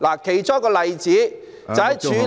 其中一個例子就是......